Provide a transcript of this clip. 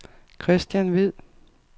Kristian Hvid